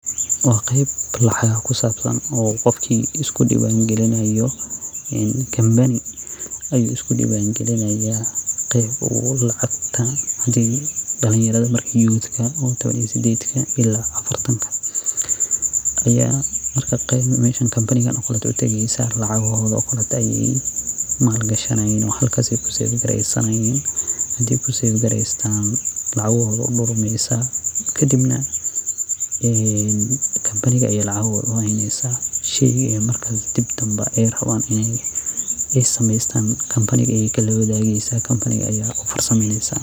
Wa qeyb lacagaha kusabsan oo qofki iskudiwangilinayo uu kambani iskudiwangaliyo qeyb oo lacagta marka uu ubahanyahay dalinyarada marka sided iyo tawaaaan ila afartan aya kambanigan utagayin oo maal gashanayin oo lacagahoda halka kusafgareynayan. Marka lacahoda wey udurmeysa kadibna kamabniga aya lacahoda uheynesa oo sheyga ey rawan hadow kamabiga aya kalaxirirayin.